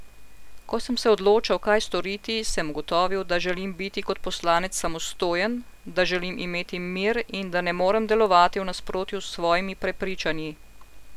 Ko sem se odločal, kaj storiti, sem ugotovil, da želim biti kot poslanec samostojen, da želim imeti mir in da ne morem delovati v nasprotju s svojimi prepričanji.